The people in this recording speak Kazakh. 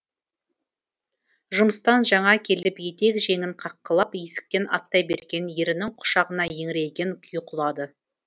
жұмыстан жаңа келіп етек жеңін қаққылап есіктен аттай берген ерінің құшағына еңіреген күйі құлады